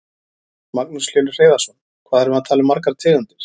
Magnús Hlynur Hreiðarsson: Hvað erum við að tala um margar tegundir?